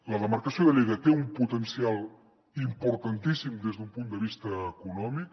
la demarcació de lleida té un potencial importantíssim des d’un punt de vista econòmic